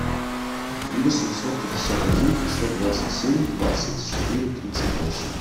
три восемьсот пятьдесят один пятьсот двадцать семь двадцать четыре тридцать восемь